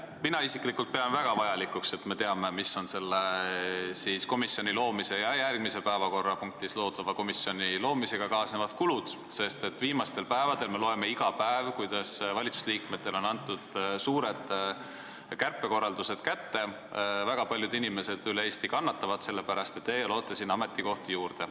Mina isiklikult pean väga vajalikuks, et me teame, mis on selle komisjoni ja järgmises päevakorrapunktis arutatava komisjoni loomisega kaasnevad kulud, sest viimastel päevadel me loeme meediast iga päev, kuidas valitsusliikmetele on antud suured kärpekorraldused kätte ja väga paljud inimesed üle Eesti kannatavad selle pärast, aga teie loote siin ametikohti juurde.